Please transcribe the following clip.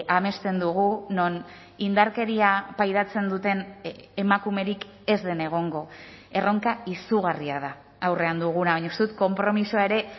amesten dugu non indarkeria pairatzen duten emakumerik ez den egongo erronka izugarria da aurrean duguna baina uste dut konpromisoa ere